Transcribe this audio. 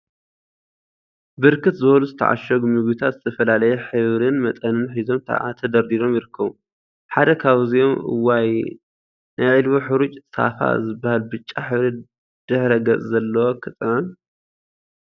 ብርክት ዝበሉ ዝተዓሸጉ ምግቢታት ዝተፈላለየ ሕብሪን መጠንን ሒዞም ተደርዲሮም ይርከቡ፡፡ ሓደ ካብዚኦም እዋይ! ናይ ዒልቦ ሕሩጭ ሳፋ ዝብሃል ብጫ ሕብሪ ድሕረ ገፅ ዘለዎ ክጥዕም፡፡